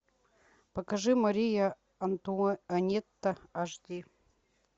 покажи мария антуанетта аш ди